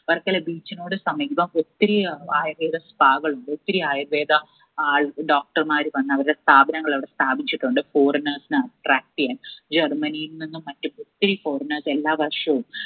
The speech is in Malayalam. വർക്കല beach നോട് സമീപം ഒത്തിരി ഏർ ആയുർവേദ spa കളുണ്ട് ഒത്തിരി ആയുർവേദ ആൾ doctor മാർ വന്ന് അവരെ സ്ഥാപനങ്ങൾ അവിടെ സ്ഥാപിച്ചിട്ടുണ്ട്. foreigners നെ attract എയ്യാൻ ജർമനിയിൽ നിന്നും മറ്റു ഒത്തിരി foreigners എല്ലാ വർഷവും